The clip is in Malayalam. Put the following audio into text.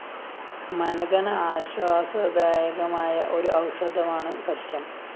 മനഘന ആശ്വാസദായകമായ ഒരു ഔഷധമാണു സത്യം